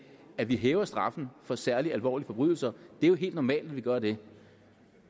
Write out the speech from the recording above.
at vi hæver straffen for særlig alvorlige forbrydelser det er jo helt normalt at vi gør det